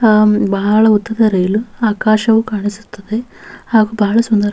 ಹಾಂ ಬಹಳ ಉದ್ದದ ರೈಲು ಆಕಾಶವು ಕಾಣಿಸುತ್ತದೆ ಹಾಗೂ ಬಹಳ ಸುಂದರ --